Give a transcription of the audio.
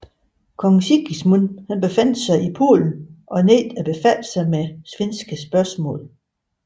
Kong Sigismund befandt sig i Polen og nægtede at befatte sig med svenske spørgsmål